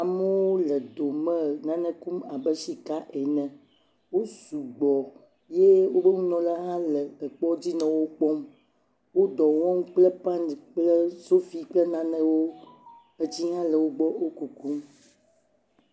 Amewo le dome nane kum abe sika ene, wo sugbɔ ye woƒe nunɔla hã le afi aɖe le wo kpɔm. Wo dɔ wɔm kple pane kple sofi kple nanewo, etsi ha le wo gbɔ wo kukum.